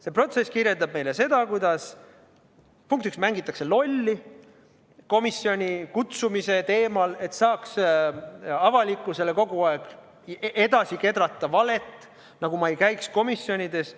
See protsess kirjeldab meile seda, kuidas, punkt üks, mängitakse lolli komisjoni kutsumise teemal, et saaks avalikkusele kogu aeg edasi kedrata valet, nagu ma ei käiks komisjonides.